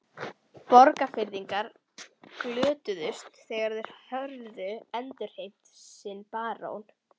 Borgfirðingar glöddust þegar þeir höfðu endurheimt sinn barón.